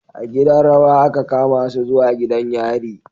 A gidan rawa aka kamasu zuwa gidan yari